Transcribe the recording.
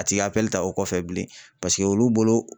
A ti ka ta o kɔfɛ bilen, paseke olu bolo